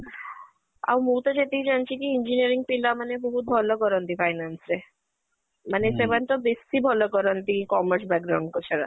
ଆଉ ମୁଁ ତ ଯେତିକି ଜାଣିଛି କି engineering ପିଲା ମାନେ ବହୁତ ଭଲ କରନ୍ତି finance ରେ ମାନେ ତ ବେଶୀ ଭଲ କରନ୍ତି commerce